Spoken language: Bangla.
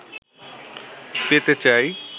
পেতে চাই